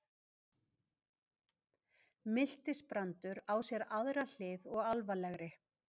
Miltisbrandur á sér aðra hlið og alvarlegri.